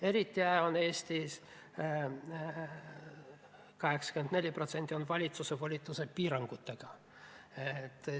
Eriti hästi – 84% – on Eestis valitsuse volituste piirangutega.